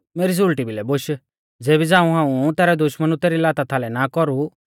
मेरी सुल़टी भिलै बोश ज़ेबी झ़ांऊ हाऊं तैरै दुश्मनु तेरी लाता थालै ना कौरु